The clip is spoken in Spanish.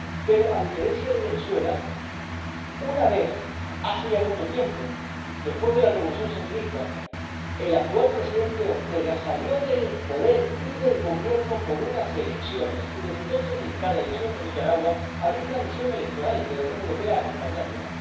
Pero a diferencia de Venezuela, una vez hace ya mucho tiempo, después de la revolución sandinista, el actual presidente Ortega salió del poder y del Gobierno por unas elecciones y, desde entonces, en cada elección en Nicaragua ha habido una misión electoral de la Unión Europea, acompañándola.